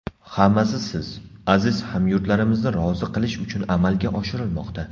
Hammasi siz, aziz hamyurtlarimizni rozi qilish uchun amalga oshirilmoqda.